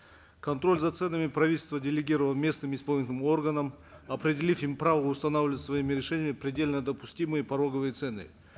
контроль за ценами правительство делегировало местным исполнительным органам определив им право устанавливать своими решениями предельно допустимые пороговые цены